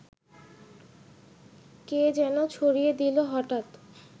কে যেন ছড়িয়ে দিল হঠাৎ